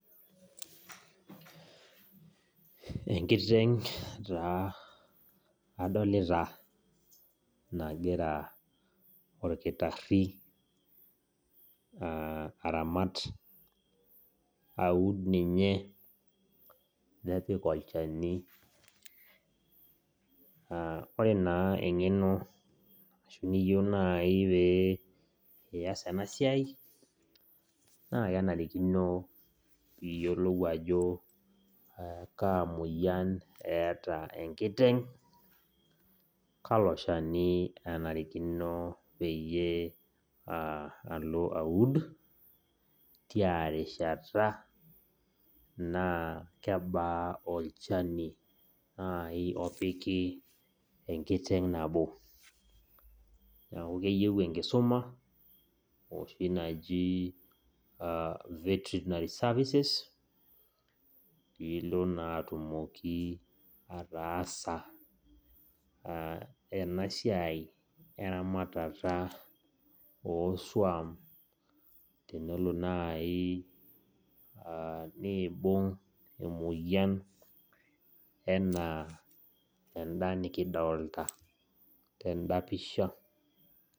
Enkitenk' taa adolita nagira olkitari aramat, aud ninye nepik olchani. Ore naa engeno ashu niyieu naai pee iyas ena siai, naa kenarikino piiyiolou ajo kaamoyian eeta enkitenk',kalo shani enarikino peyie aa alo aud, tiarishata naa kebaa olchani naai opiki enkitenk' nabo. Neeku keyieu enkisuma oshi naji vertinary services piilo naa atumoki ataasa ena siai eramatata oosuam tenelo naayi niibung' emoyian enaa enda nikidoolta tenda pisha.